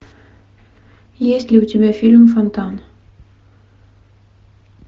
есть ли у тебя фильм фонтан